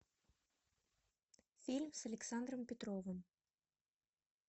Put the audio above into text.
фильм с александром петровым